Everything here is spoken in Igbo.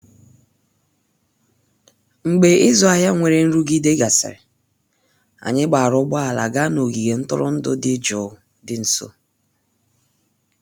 mgbe izu ahụ nwere nrụgide gasịrị, anyị gbaara ụgbọala gaa n'ogige ntụrụndụ dị jụụ dị nso